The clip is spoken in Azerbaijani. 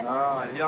Hər kəsə halaldır.